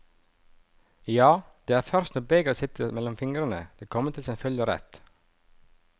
Ja, det er først når begeret sitter mellom fingrene det kommer til sin fulle rett.